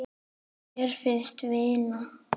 Mín fyrsta vinna.